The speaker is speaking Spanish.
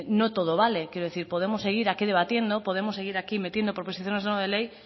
no todo vale quiero decir podemos seguir aquí debatiendo podemos seguir aquí metiendo proposiciones no de ley